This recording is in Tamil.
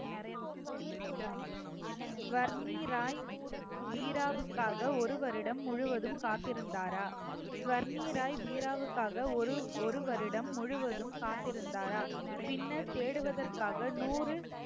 ஸ்வர்ணி ராய், பீராவுக்காக ஒரு வருடம் முழுவதும் காத்திருந்தாரா ஸ்வர்ணிராய் பீராவுக்காக ஒரு~ ஒரு வருடம் முழுவதும் காத்திருந்தாரா பின்னர் தேடுவதற்காக நூறு